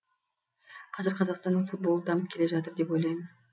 қазір қазақстанның футболы дамып келе жатыр деп ойлаймын